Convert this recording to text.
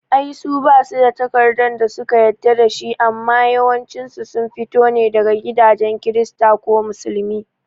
Ai su basu da takarda da suka yadda dashi amma yawancin su sun fito ne daga gidajen kirista ko musulmi